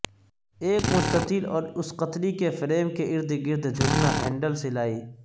ایک مستطیل اور اس قطری کے فریم کے ارد گرد جھکنا ہینڈل سلائی